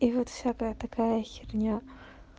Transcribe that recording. и вот всякая такая херня